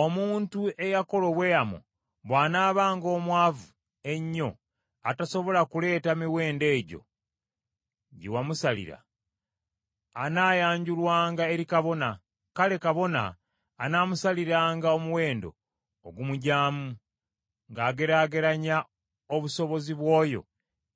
Omuntu eyakola obweyamo bw’anaabanga omwavu ennyo atasobola kuleeta miwendo egyo gye wamusalira, anaayanjulwanga eri kabona; kale kabona anaamusaliranga omuwendo ogumugyamu ng’ageraageranya obusobozi bw’oyo